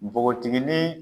Npogotigini.